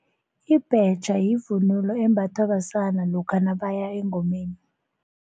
Ibhetjha yivunulo embathwa basana lokha nabaya engomeni.